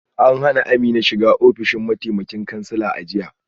An hana Amina shiga ofishin mataimakan kansila a jiya